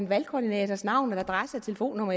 valgkoordinators navn og adresse og telefonnummer